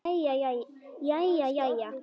Jæja jæja.